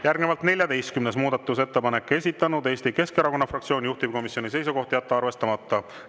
Järgnevalt 14. muudatusettepanek, esitanud Eesti Keskerakonna fraktsioon, juhtivkomisjoni seisukoht: jätta arvestamata.